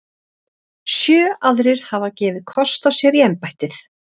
Sjö aðrir hafa gefið kost á sér í embættið.